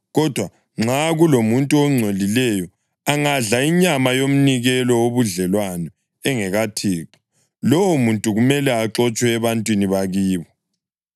Kodwa nxa kulomuntu ongcolileyo angadla inyama yomnikelo wobudlelwano engekaThixo, lowomuntu kumele axotshwe ebantwini bakibo.